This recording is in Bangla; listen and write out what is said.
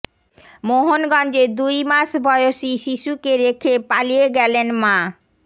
মোহনগঞ্জে দুই মাস বয়সী শিশুকে রেখে পালিয়ে গেলেন মা